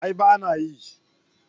A'a bana yi